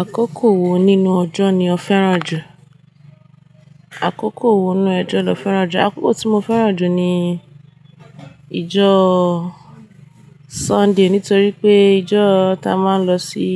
Àkókò wo nínú ọjọ́ ni ó fẹ́ràn jù? Àkókò wo nínú ojọ́ lo fẹ́ràn jù? Àkókò tí mo fẹ́ràn jù ni ijó Sunday, nítorí pé ijó ta a máa ń lọ sí